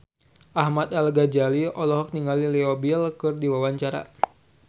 Ahmad Al-Ghazali olohok ningali Leo Bill keur diwawancara